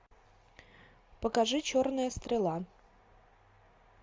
покажи черная стрела